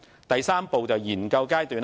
第三步為研究階段。